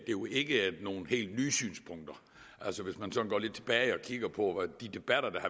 jo ikke er nogen helt nye synspunkter altså hvis man går lidt tilbage og kigger på de debatter der